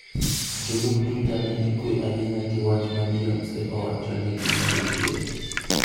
Jolup Twitter ne ikwe ahinya gi wach ma Beyoncé owacho ni gin jodhier.